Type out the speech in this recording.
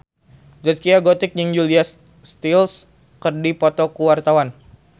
Zaskia Gotik jeung Julia Stiles keur dipoto ku wartawan